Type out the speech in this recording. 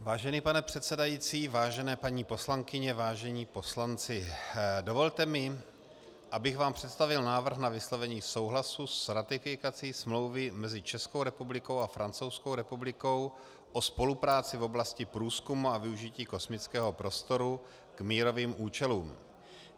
Vážený pane předsedající, vážené paní poslankyně, vážení poslanci, dovolte mi, abych vám představil návrh na vyslovení souhlasu s ratifikací Smlouvy mezi Českou republikou a Francouzskou republikou o spolupráci v oblasti průzkumu a využití kosmického prostoru k mírovým účelům.